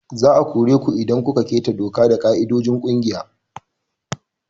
Za a kore ku idan kun keta doka da ƙa'idojin kungiya.